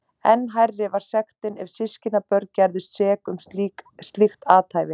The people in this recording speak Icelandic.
Enn hærri var sektin ef systkinabörn gerðust sek um slíkt athæfi.